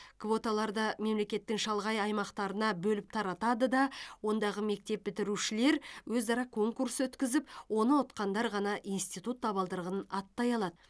квоталарды мемлекеттің шалғай аймақтарына бөліп таратады да ондағы мектеп бітірушілер өзара қонкурс өткізіп оны ұтқандар ғана институт табалдырығын аттай алады